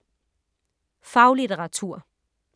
Faglitteratur